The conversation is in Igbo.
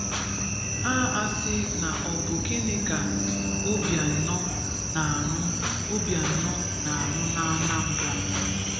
Ha asị na ọ bụ gínì ka Obiano na-ārū Obiano na-ārū n'Anambra?